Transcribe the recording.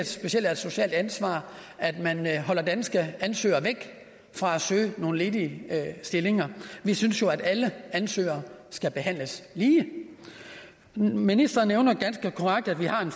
specielt er et socialt ansvar at man holder danske ansøgere væk fra at søge nogle ledige stillinger vi synes jo at alle ansøgere skal behandles lige ministeren nævner ganske korrekt at vi har